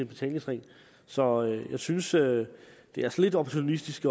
betalingsring så jeg synes det det er lidt opportunistisk